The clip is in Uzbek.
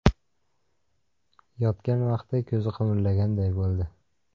Yotgan vaqti ko‘zi qimirlaganday bo‘ldi.